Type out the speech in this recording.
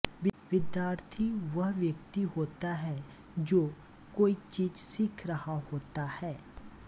विद्यार्थी वह व्यक्ति होता है जो कोई चीज सीख रहा होता है